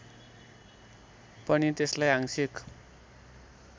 पनि त्यसलाई आंशिक